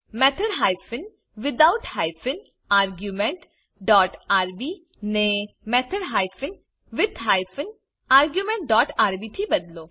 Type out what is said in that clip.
method hyphen without hyphen arguments dot rb ને method hyphen with hyphen arguments dot rb થી બદલો